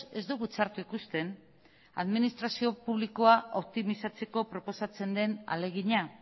ez dugu txarto ikusten administrazio publikoa optimizatzeko proposatzen den ahalegina